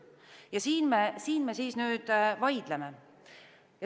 Ja siin me siis nüüd vaidleme.